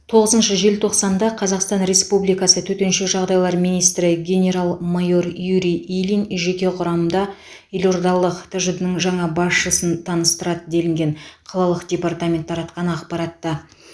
тоғызыншы желтоқсанда қазақстан республикасы төтенше жағдайлар министрі генерал майор юрий ильин жеке құрамға елордалық тжд ның жаңа басшысын таныстырды делінген қалалық департамент таратқан ақпаратта